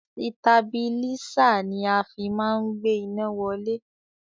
Sitabilísà ni a fi má ń gbé iná wálẹ̀.